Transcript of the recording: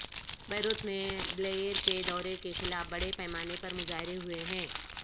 Beirut میں Blair کے دورے کے خلاف بڑے پیمانے پر مظاہرے ہوئے ہیں